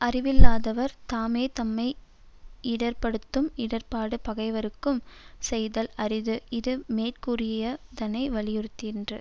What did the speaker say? அறிவில்லாதாவர் தாமே தம்மை யிடர்ப்படுத்தும் இடர்ப்பாடு பகைவர்க்கும் செய்தல் அரிது இது மேற்கூறியதனை வலியுறுத்திற்று